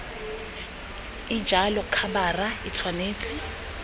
e jalo khabara e tshwanetse